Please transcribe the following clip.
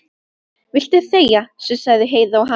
Viltu þegja, sussaði Heiða á hana.